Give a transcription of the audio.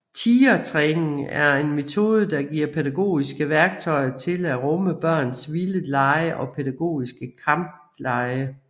Tigertræning er en metode der giver pædagogiske værktøjer til at rumme børns vilde lege og pædagogiske kamplege